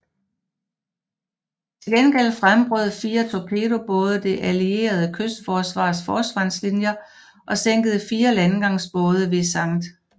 Til gengæld gennembrød fire torpedobåde det allierede kystforsvars forsvarlinjer og sænkede fire landgangsbåde ved St